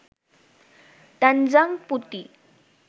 তানজাং পুটি